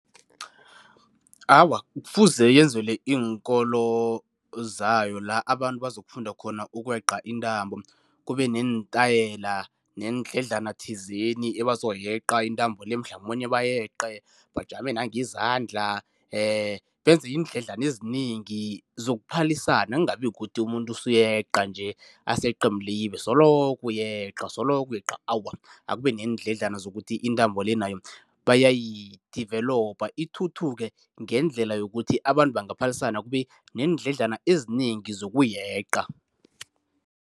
Awa, kufuze yenzelwe iinkolo zayo la abantu bazokufunda khona ukweqa intambo. Kube neentayela neendledlana thizeni ebazoyeqa intambo le mhlamunye bayeqe, bajame nangezandla benze iindledlana ezinengi zokuphalisana, kungabi kukuthi umuntu usuyeqa nje, aseqe mlibe, soloko uyeqa, soloko uyeqa, awa. Akube neendledalana ukuthi intambo le nayo bayi-develop, ithuthuke ngendlela yokuthi abantu bangaphalisana kube neendlana ezinengi zokuyeqa.